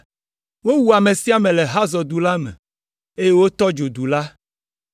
Wowu ame sia ame le Hazor du la me, eye wotɔ dzo du la.